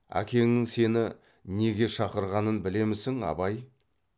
әкеңнің сені неге шақырғанын білемісің абай